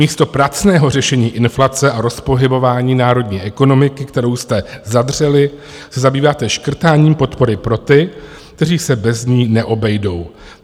Místo pracného řešení inflace a rozpohybování národní ekonomiky, kterou jste zadřeli, se zabýváte škrtáním podpory pro ty, kteří se bez ní neobejdou.